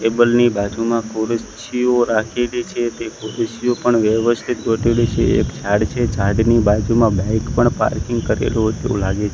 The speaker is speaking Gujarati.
ટેબલ ની બાજુમાં ખુરસીઓ રાખેલી છે તે ખુરસીઓ પણ વ્યવસ્થિત ગોઠવેલી છે એક ઝાડ છે ઝાડની બાજુમાં બાઈક પણ પાર્કિંગ કરેલુ હોઈ તેવુ લાગે--